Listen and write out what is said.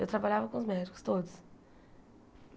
Eu trabalhava com os médicos todos.